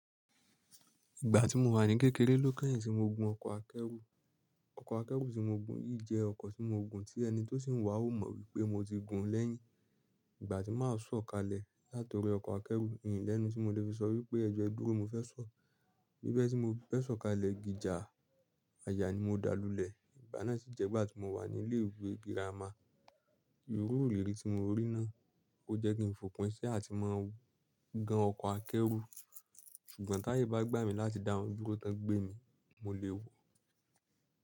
Ìgbà tí mo wà ní kékeré ló kẹ́yìn tí mo gun ọkọ̀ akẹ́rù. Ọkọ̀ akẹ́rù tí mo gun yìí jẹ́ ọkọ̀ tí mo gun tí ẹni tó sì ń wà ó mọ̀ wípé mo ti gun lẹ́yìn. Ìgbà tí màá sọ̀ kalẹ̀ láti orí ọkọ̀ akẹ́rù, mi lẹ́nu tí mo lè fi sọ wípé ẹjọ́ ẹ dúró mo fẹ́ sọ̀. Bibe tí mo be sọ̀ kalẹ̀ gijà àyà ni mo dáa lulẹ̀. Ìgbà náà sì jẹ́ ìgbà tí mo wà ní ilé ìwé girama. Irù ìrírí tí mo rí náà, ó jẹ́ kí ń fòpin sí à ti máa gan ọkọ̀ akẹ́rù. Sùgbọ́n ti aye bá gbà mí láti dá won duro ki won gbé mi, mo lè wò ó.